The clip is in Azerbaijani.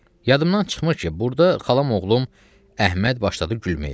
Yadımdan çıxmır ki, burda xalam oğlum Əhməd başladı gülməyə.